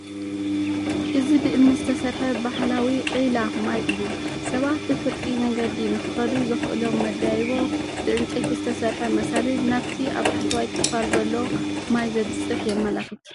እዚ ብእምኒ ዝተሰርሐ ባህላዊ ዔላ ማይ እዩ። ሰባት ብፍርቂ መገዲ ንኺኸዱ ዘኽእሎም መደያይቦ ብዕንጨይቲ ዝተሰርሐ መሳልል ናብቲ ኣብ ታሕተዋይ ክፋል ዘሎ ማይ ዘብፅሕ የመላክት።